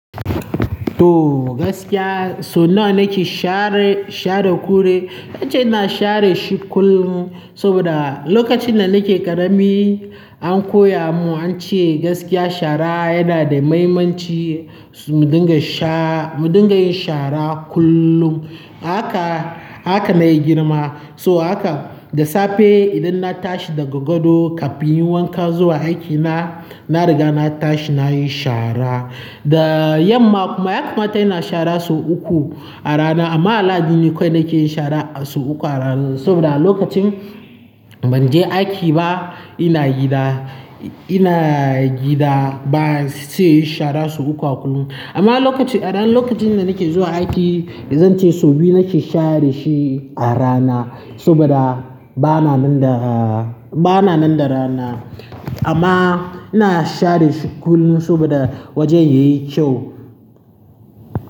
To gaskiya so nawa nake share, share kure? Nce ina share shi kullum soboda lokacin da nake ƙarami an koya mun ance gaskiya shara yana da mahimmanci, su-mu dinga sha, mu dinga yin shara kullum. Ahaka ahaka maigirma So haka da safe idan na tashi daga gado kafin yin wanka zuwa aiki na, na riga na tashi nayi shara. Da yamma kuma yakamata ina shara so uku a rana amma allayi duni kodoi ke yin shara a so uku a ral-saboda alokacin banje aiki ba ina gida, ina gida ba se yi shara so uku a kullum. Amma lokacin, a ran lokacin da nake zuwa aiki zan ce so biyu nake share shi a rana saboda bana nan da, bana nan da rana. Amma ina share shi kullun soboda wajen yayi kyau.